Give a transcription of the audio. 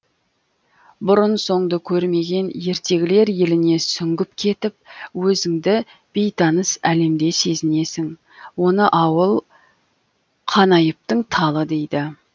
бұрын соңды көрмеген ертегілер еліне сүңгіп кетіп өзіңді бейтаныс әлемде сезінесің оны ауыл қанайыптың талы дейді